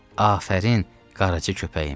"Afərin, Qaracı köpəyim."